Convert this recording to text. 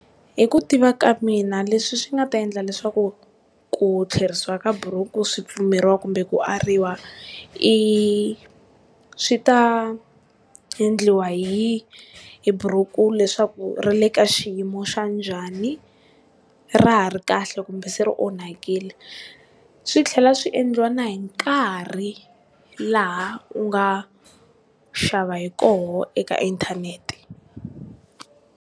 Hi ku tiva ka mina leswi swi nga ta endla leswaku ku tlherisiwa ka buruku swi pfumeriwa kumbe ku ariwa i swi ta endliwa hi hi buruku leswaku ri le ka xiyimo xa njhani, ra ha ri kahle kumbe se ri onhakile swi tlhela swi endliwa na hi nkarhi laha u nga xava hi koho eka inthanete.